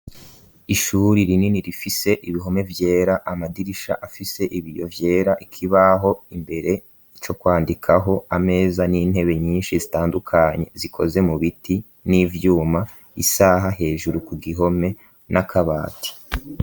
Ishuri rinini rifise ibihome vyera amadirisha afise ibiyo vyera ikibaho imbere co kwandikaho ameza n'intebe nyinshi zitandukanye zikoze mu biti n'ivyuma isaha hejuru ku gihome n'akabati.